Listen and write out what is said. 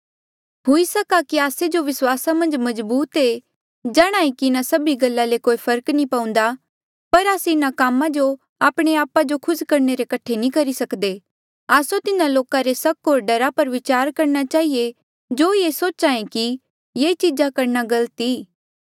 हुई सक्हा कि आस्से जो विस्वासा मन्झ मजबूत ऐें जाणांहे कि इन्हा सभी गल्ला ले कोई फर्क नी पउन्दा पर आस्से इन्हा कामा जो आपणे आपा जो खुस करणे रे कठे नी करी सकदे आस्सो तिन्हा लोका रे सक होर डरा पर विचार करणा चहिए जो सोचे ये कि ये चीजा करणा गलत आ